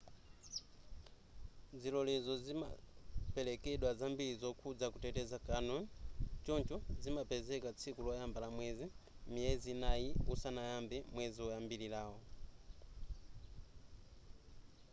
zilolezo sizimaperekedwa zambiri zokhuza kuteteza canyon choncho zimapezeka tsiku loyamba la mwezi miyezi inayi usanayambe mwezi woyambirawo